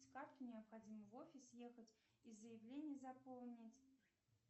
с карты необходимо в офис ехать и заявление заполнить